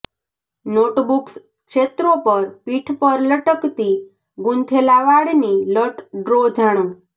notebooks ક્ષેત્રો પર પીઠ પર લટકતી ગૂંથેલા વાળની લટ ડ્રો જાણો